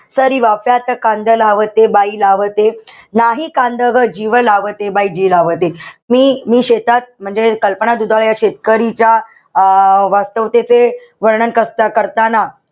सरी वाफ्यात कांदा लावते, बाई लावते, नाही कांद ग जीव लावते, बाई जीव लावते. मी-मी शेतात म्हणजे कल्पना दुधाळे या शेतकरीच्या अं वास्तवतेचे वर्णन कस करताना,